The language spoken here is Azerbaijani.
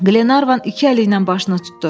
Qlenarvan iki əli ilə başını tutdu.